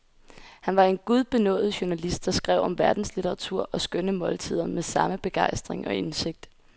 Han var en gudbenådet journalist, der skrev om verdenslitteratur og skønne måltider med samme begejstring og indsigt.